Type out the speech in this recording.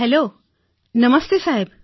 hello નમસ્તે સાહેબ